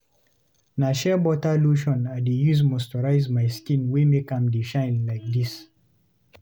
Na sheerbutter lotion I dey use moisturize my skin wey make am dey shine like dis.